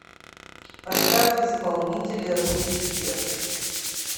поставь исполнителя руки вверх